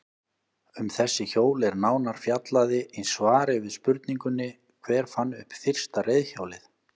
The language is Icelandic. Um þessi hjól er nánar fjallaði í svari við spurningunni Hver fann upp fyrsta reiðhjólið?